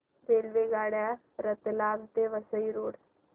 रेल्वेगाड्या रतलाम ते वसई रोड